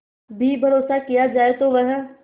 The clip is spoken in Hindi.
भी भरोसा किया जाए तो वह